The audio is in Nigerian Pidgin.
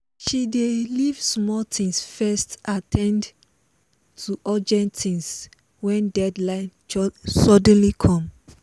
she dey leave small things first at ten d to urgent things when deadline suddenly come